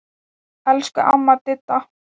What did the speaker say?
Elsku amma Didda.